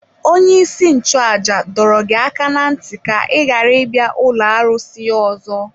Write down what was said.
Onye-isi-nchu-àjà dọrọ gị aka ná ntị ka i ghara ibia ụlọ arụsị ya ọzọ.